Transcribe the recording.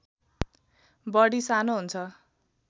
बढी सानो हुन्छ